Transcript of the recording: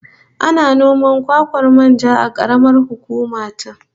Ana noman kwakwan manja a karamar hukuma ta